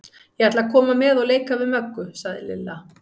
Ég ætla að koma með og leika við Möggu, sagði Lilla.